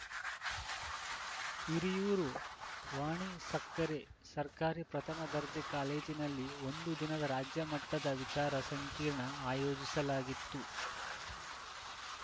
ಹಿರಿಯೂರು ವಾಣಿಸಕ್ಕರೆ ಸರ್ಕಾರಿ ಪ್ರಥಮ ದರ್ಜೆ ಕಾಲೇಜಿನಲ್ಲಿ ಒಂದು ದಿನದ ರಾಜ್ಯಮಟ್ಟದ ವಿಚಾರ ಸಂಕಿರಣ ಆಯೋಜಿಸಲಾಗಿತ್ತು